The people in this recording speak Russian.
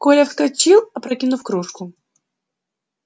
коля вскочил опрокинув кружку